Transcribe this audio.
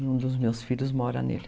Um dos meus filhos mora nele.